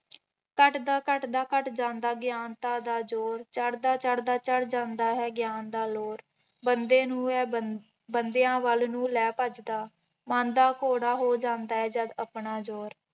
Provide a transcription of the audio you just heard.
ਘੱਟਦਾ ਘੱਟਦਾ ਘੱਟ ਜਾਂਦਾ ਗਿਆਨਤਾ ਦਾ ਜੋਰ, ਚੜ੍ਹਦਾ ਚੜ੍ਹਦਾ ਚੜ੍ਹ ਜਾਂਦਾ ਹੈ ਗਿਆਨ ਦਾ ਲੋਰ, ਬੰਦੇ ਨੂੰ ਇਹ ਬ ਬੰਦਿਆਂ ਵੱਲ ਨੂੰ ਲੈ ਭੱਜਦਾ, ਮਨ ਦਾ ਘੋੜਾ ਹੋ ਜਾਂਦਾ ਹੈ ਜਦ ਆਪਣਾ ਜੋਰ।